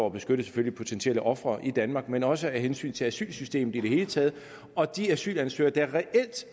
at beskytte potentielle ofre i danmark men også af hensyn til asylsystemet i det hele taget og de asylansøgere der